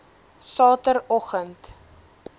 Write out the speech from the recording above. sateroggend